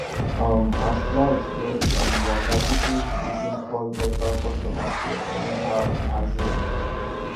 um as light just um waka people begin call nepa customer care anyhow as in